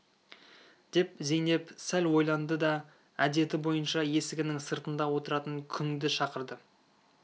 деп зейнеп сәл ойланды да әдеті бойынша есігінің сыртында отыратын күңді шақырды